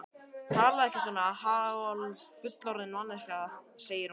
Talaðu ekki svona, hálffullorðin manneskjan, segir hún.